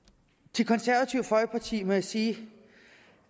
til konservative folkeparti må jeg sige